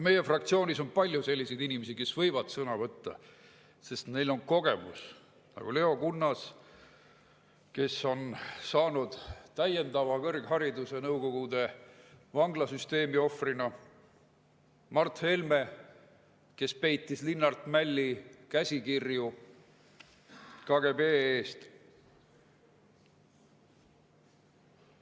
Meie fraktsioonis on palju selliseid inimesi, kes võivad sõna võtta, sest neil on kogemus: Leo Kunnas, kes on saanud täiendava kõrghariduse Nõukogude vanglasüsteemi ohvrina, Mart Helme, kes peitis Linnart Mälli käsikirju KGB eest.